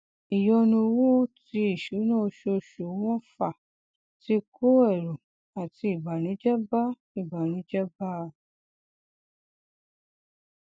ìyọnu owó ti ìṣúná oṣooṣù wọn fà tí kó ẹrù àti ìbànújẹ bá ìbànújẹ bá a